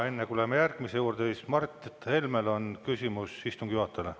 Enne kui läheme järgmise juurde, on Mart Helmel küsimus istungi juhatajale.